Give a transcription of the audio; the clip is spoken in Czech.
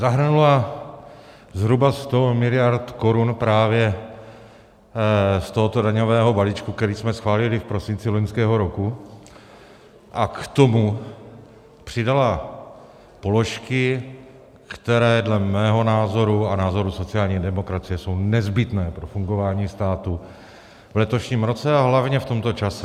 Zahrnula zhruba 100 miliard korun právě z tohoto daňového balíčku, který jsme schválili v prosinci loňského roku, a k tomu přidala položky, které dle mého názoru a názoru sociální demokracie jsou nezbytné pro fungování státu v letošním roce a hlavně v tomto čase.